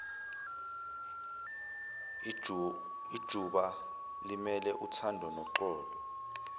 ijubalimele uthando noxolo